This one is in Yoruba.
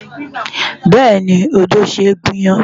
Bẹ́ẹ̀ni, odó ṣe é gún iyán.